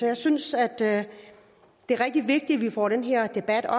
jeg synes det er rigtig vigtigt at vi får den her debat og